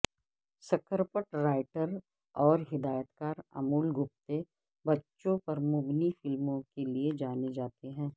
script writer اور ہدایتکار امول گپتے بچوں پر مبنی فلموں کے لیے جانے جاتے ہیں